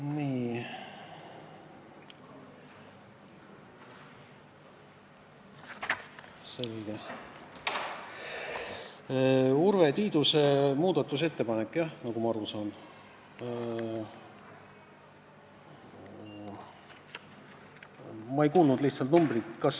Nii, selge – Urve Tiiduse muudatusettepanek, nagu ma aru saan.